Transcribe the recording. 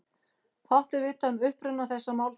Fátt er vitað um uppruna þessa máltækis.